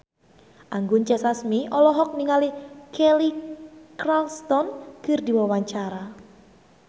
Anggun C. Sasmi olohok ningali Kelly Clarkson keur diwawancara